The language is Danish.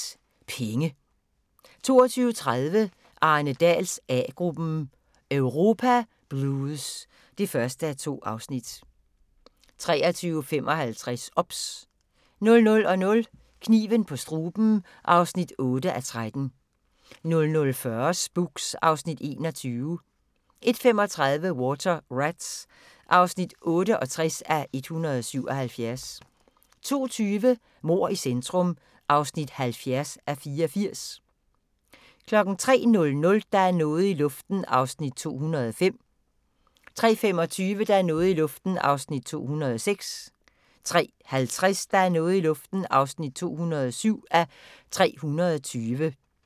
21:55: Penge 22:30: Arne Dahls A-gruppen: Europa blues (1:2) 23:55: OBS 00:00: Kniven på struben (8:13) 00:40: Spooks (Afs. 21) 01:35: Water Rats (68:177) 02:20: Mord i centrum (70:84) 03:00: Der er noget i luften (205:320) 03:25: Der er noget i luften (206:320) 03:50: Der er noget i luften (207:320)